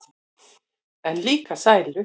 En líka sælu.